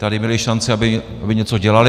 Tady měli šanci, aby něco dělali.